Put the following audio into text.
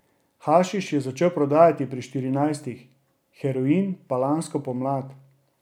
Hašiš je začel prodajati pri štirinajstih, heroin pa lansko pomlad.